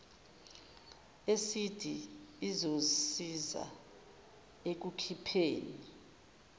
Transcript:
esidi izosiza ekukhipheni